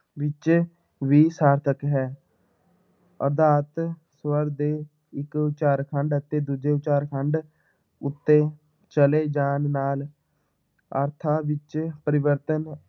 ਵਿੱਚ ਵੀ ਸਾਰਥਕ ਹੈ ਆਧਾਰਤ ਸਵਰ ਦੇ ਇੱਕ ਉਚਾਰਖੰਡ ਅਤੇ ਦੂਜੇ ਉਚਾਰਖੰਡ ਉੱਤੇ ਚਲੇ ਜਾਣ ਨਾਲ ਅਰਥਾਂ ਵਿੱਚ ਪਰਿਵਰਤਨ